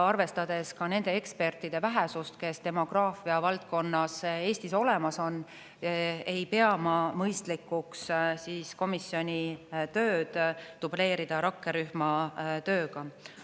Arvestades ka nende ekspertide vähesust, kes demograafia valdkonnas Eestis olemas on, ei pea ma mõistlikuks komisjoni tööd dubleerida rakkerühma tööga.